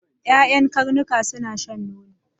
Ƴaƴan karnuka suna shan nono.